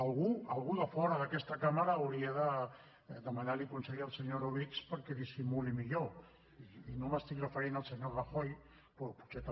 algú algú de fora d’aquesta cambra hauria de demanar li consell al senyor orobitg perquè dissimuli millor i no m’estic referint al senyor rajoy però potser també